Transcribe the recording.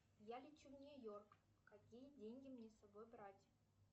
я лечу в нью йорк какие деньги мне с собой брать